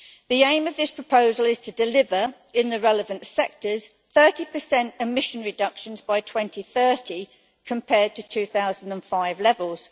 The aim of this proposal is to deliver, in the relevant sectors, 30 emissions reductions by 2030 compared to 2005 levels.